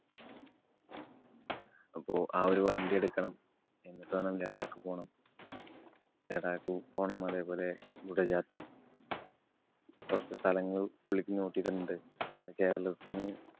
അപ്പൊ ആ ഒരു വണ്ടി എടുക്കണം. എന്നിട്ട് വേണം ലഡാക്ക് പോണം. ലഡാക്ക് പോണം അതേപോലെ കുടജാദ്രി കൊറച്ച് സ്ഥലങ്ങള്‍ പുള്ളിക്ക് note ചെയ്തിട്ടുണ്ട്. എന്ന് കേരളത്തിന്